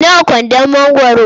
Nawa kwandon mangwaro?